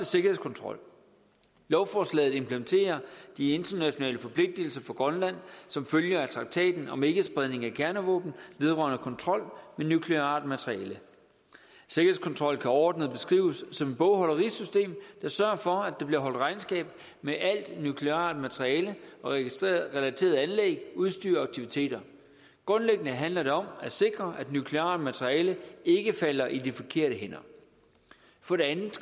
sikkerhedskontrol lovforslaget implementerer de internationale forpligtelser for grønland som følger af traktaten om ikkespredning af kernevåben vedrørende kontrol med nukleart materiale sikkerhedskontrol kan overordnet beskrives som et bogholderisystem der sørger for at der bliver holdt regnskab med alt nukleart materiale og relaterede anlæg udstyr og aktiviteter grundlæggende handler det om at sikre at nukleart materiale ikke falder i de forkerte hænder for det andet